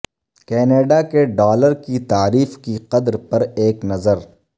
Canada کے dollar کی تعریف کی قدر پر ایک نظر